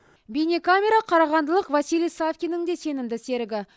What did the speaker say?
бейнекамера қарағандылық василий савкиннің де сенімді серігі